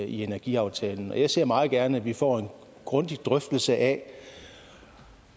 energiaftalen jeg ser meget gerne at vi får en grundig drøftelse af